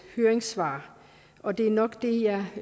høringssvar og det er nok det jeg